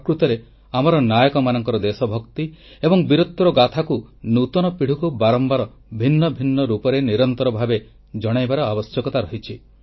ପ୍ରକୃତରେ ଆମର ନାୟକମାନଙ୍କ ଦେଶଭକ୍ତି ଏବଂ ବୀରତ୍ୱର ଗାଥାକୁ ନୂତନ ପିଢ଼ିକୁ ବାରମ୍ବାର ଭିନ୍ନ ଭିନ୍ନ ରୂପରେ ନିରନ୍ତର ଭାବେ ଜଣାଇବାର ଆବଶ୍ୟକତା ରହିଛି